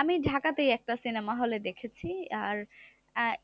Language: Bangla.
আমি ঢাকাতেই একটা cinema hall এ দেখেছি। আর আহ